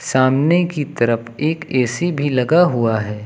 सामने की तरफ एक ए_सी भी लगा हुआ है।